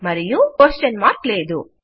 మరియు ప్రశ్నార్థకము లేదు